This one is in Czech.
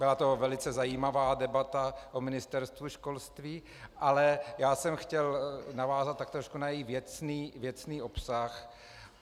Byla to velice zajímavá debata o Ministerstvu školství, ale já jsem chtěl navázat tak trošku na její věcný obsah.